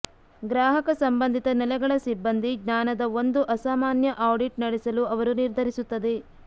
ಗ್ರಾಹಕ ಸಂಬಂಧಿತ ನೆಲೆಗಳ ಸಿಬ್ಬಂದಿ ಜ್ಞಾನದ ಒಂದು ಅಸಾಮಾನ್ಯ ಆಡಿಟ್ ನಡೆಸಲು ಅವರು ನಿರ್ಧರಿಸುತ್ತದೆ